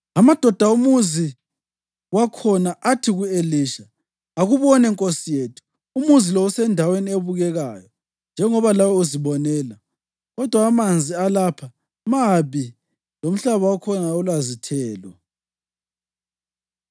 Amadoda omuzi wakhona athi ku-Elisha, “Akubone, nkosi yethu, umuzi lo usendaweni ebukekayo, njengoba lawe uzibonela, kodwa amanzi alapha mabi lomhlaba wakhona awulazithelo.”